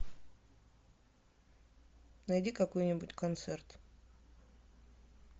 найди какой нибудь концерт